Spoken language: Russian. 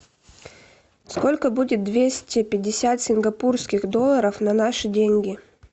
сколько будет двести пятьдесят сингапурских долларов на наши деньги